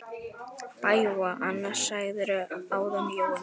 BAUJA: Annað sagðirðu áðan, Jói minn.